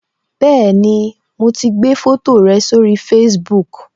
Bẹẹni, mo ti gbé foto rẹ sórí Facebook